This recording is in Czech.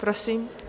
Prosím.